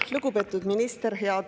Lugupeetud minister!